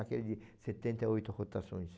Aquele de setenta e oito rotações.